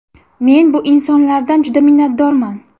Men bu insonlardan juda minnatdorman.